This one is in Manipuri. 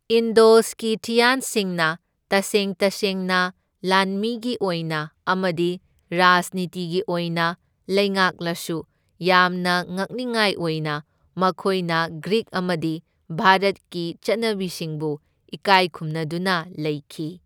ꯏꯟꯗꯣ ꯁ꯭ꯀꯤꯊꯤꯌꯥꯟꯁꯤꯡꯅ ꯇꯁꯦꯡ ꯇꯁꯦꯡꯅ ꯂꯥꯟꯃꯤꯒꯤ ꯑꯣꯏꯅ ꯑꯃꯗꯤ ꯔꯥꯖꯅꯤꯇꯤꯒꯤ ꯑꯣꯏꯅ ꯂꯩꯉꯥꯛꯂꯁꯨ, ꯌꯥꯝꯅ ꯉꯛꯅꯤꯉꯥꯏ ꯑꯣꯏꯅ ꯃꯈꯣꯢꯅ ꯒ꯭ꯔꯤꯛ ꯑꯃꯗꯤ ꯚꯥꯔꯠꯀꯤ ꯆꯠꯅꯕꯤꯁꯤꯡꯕꯨ ꯏꯀꯥꯏ ꯈꯨꯝꯅꯗꯨꯅ ꯂꯩꯈꯤ꯫